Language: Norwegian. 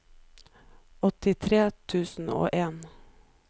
åttitre tusen og en